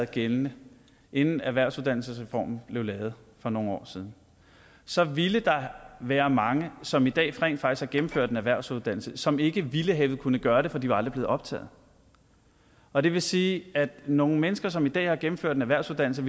gældende inden erhvervsuddannelsesreformen blev lavet for nogle år siden så ville der være mange som i dag rent faktisk har gennemført en erhvervsuddannelse som ikke ville have kunnet gøre det for de var aldrig blevet optaget og det vil sige at nogle mennesker som i dag har gennemført en erhvervsuddannelse